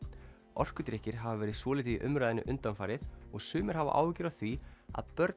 orkudrykkir hafa verið svolítið í umræðunni undanfarið og sumir hafa áhyggjur af því að börn